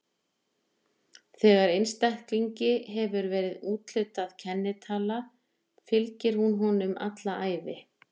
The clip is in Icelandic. Þegar einstaklingi hefur verið úthlutuð kennitala fylgir hún honum um alla ævi.